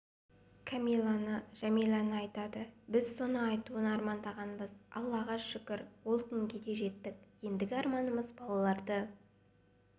камиланы жәмиләні айтады біз соны айтуын армандағанбыз аллаға шүкір сол күнге жеттік ендігі арманымыз балаларды